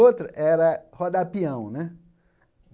Outro era rodar pião né.